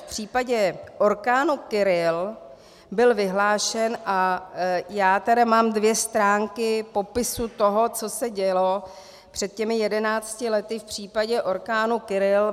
V případě orkánu Kirill byl vyhlášen a já tedy mám dvě stránky popisu toho, co se dělo před těmi jedenácti lety v případě orkánu Kirill.